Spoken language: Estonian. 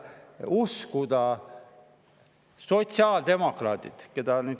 Uskuda sotsiaaldemokraate?